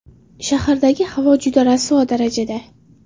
Shahardagi havo juda rasvo darajada.